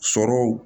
Sɔrɔw